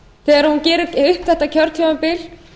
þegar hún gerir upp þetta kjörtímabil